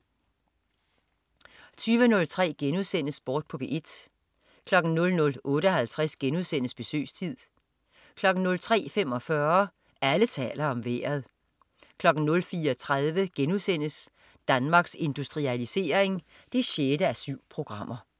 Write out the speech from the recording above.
20.03 Sport på P1* 00.58 Besøgstid* 03.45 Alle taler om Vejret 04.30 Danmarks Industrialisering 6:7*